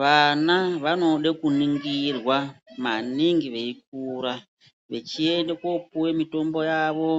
Vana vanode kuningirwa maningi veikura, vechiende kopuwe mitombo yavo,